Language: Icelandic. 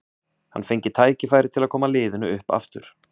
Hann fengi tækifæri til að koma liðinu upp aftur.